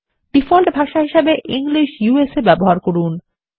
default ভাষা হিসাবে English ব্যবহার করুন